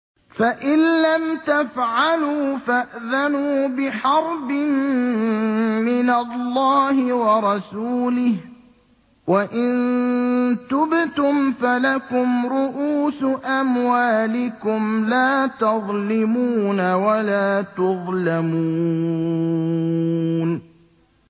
فَإِن لَّمْ تَفْعَلُوا فَأْذَنُوا بِحَرْبٍ مِّنَ اللَّهِ وَرَسُولِهِ ۖ وَإِن تُبْتُمْ فَلَكُمْ رُءُوسُ أَمْوَالِكُمْ لَا تَظْلِمُونَ وَلَا تُظْلَمُونَ